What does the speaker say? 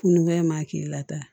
Fununen m'a k'i la tan